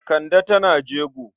Kande tana jego.